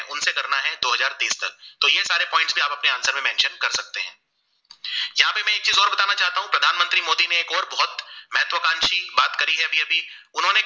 प्रधानमंत्री मोदी ने एक और बोहोत महत्वकांशी बात करी है अभी अभी उन्हों ने